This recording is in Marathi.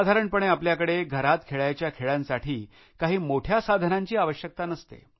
साधारणपणे आपल्याकडे घरात खेळायच्या खेळांसाठी काही मोठ्या साधनांची आवश्यकता नसते